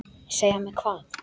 Segja mér hvað?